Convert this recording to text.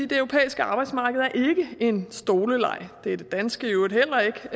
det europæiske arbejdsmarked er ikke en stoleleg det er det danske i øvrigt heller